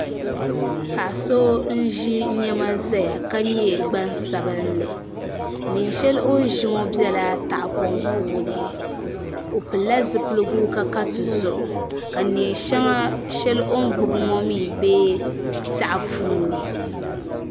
Paɣa so n ʒi niɛma ʒɛya ka nyɛ gbaŋsabinli neen shɛli o ni ʒi ŋo biɛla tahapoŋ puuni o pilila zipiligu ka ka tizuɣu ka neen shɛŋa shɛli o ni gbubi ŋo mii bɛ piɛɣu puuni